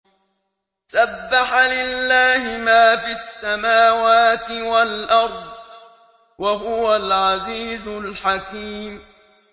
سَبَّحَ لِلَّهِ مَا فِي السَّمَاوَاتِ وَالْأَرْضِ ۖ وَهُوَ الْعَزِيزُ الْحَكِيمُ